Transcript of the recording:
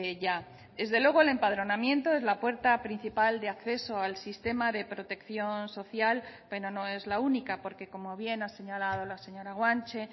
ya desde luego el empadronamiento es la puerta principal de acceso al sistema de protección social pero no es la única porque como bien ha señalado la señora guanche